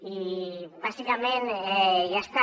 i bàsicament ja està